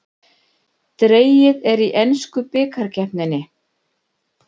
Dregið í ensku bikarkeppninni